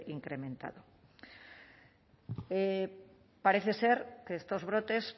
incremento parece ser que estos brotes